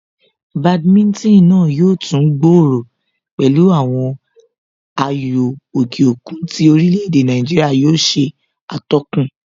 Badminton náà yóò tún gbòòrò pẹ̀lú àwọn ayò òkè òkun tí orílè èdè Nàìjíríà yóò ṣe atọ́kùn